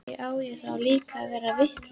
Á ég þá líka að verða vitlaus eða hvað?